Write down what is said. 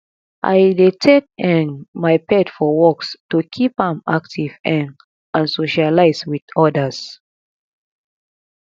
i dey take um my pet for walks to keep am active um and socialize with others